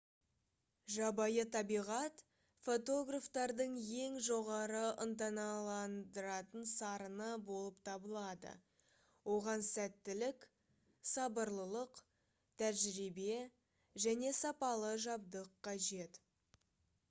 жабайы табиғат фотографтардың ең жоғары ынталандыратын сарыны болып табылады оған сәттілік сабырлылық тәжірибе және сапалы жабдық қажет